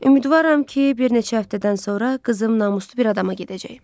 Ümidvaram ki, bir neçə həftədən sonra qızım namuslu bir adama gedəcək.